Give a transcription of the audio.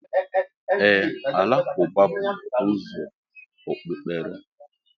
Ee, alakụba bú ụzọ Okpụkpere.